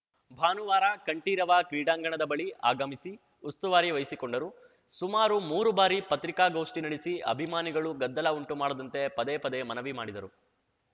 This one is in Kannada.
ಭಾನುವಾರ ಕಂಠೀರವ ಕ್ರೀಡಾಂಗಣದ ಬಳಿ ಆಗಮಿಸಿ ಉಸ್ತುವಾರಿ ವಹಿಸಿಕೊಂಡರು ಸುಮಾರು ಮೂರು ಬಾರಿ ಪತ್ರಿಕಾಗೋಷ್ಠಿ ನಡೆಸಿ ಅಭಿಮಾನಿಗಳು ಗದ್ದಲ ಉಂಟು ಮಾಡದಂತೆ ಪದೇ ಪದೇ ಮನವಿ ಮಾಡಿದರು